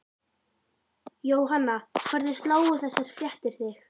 Jóhanna, hvernig slógu þessar fréttir þig?